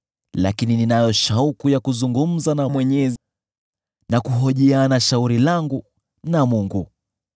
Lakini ninayo shauku ya kuzungumza na Mwenyezi na kuhojiana shauri langu na Mungu.